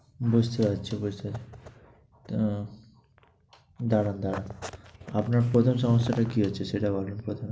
বুঝতে পারছি, বুঝতে পারছি, দাঁড়ান দাঁড়ান। আপনার সমস্যাটা কি হচ্ছে, সেটা বলেন কথা।